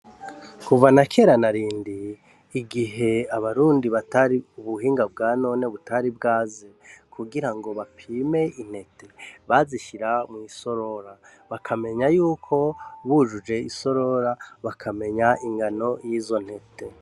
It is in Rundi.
Kuva na kera narindi igihe abarundi batari ubuhinga bwa none butari bwaze kugirango bapime intete bazishira mwisorora bakamenyayuko wujuje isorora bakamenya ingano yizo ntete.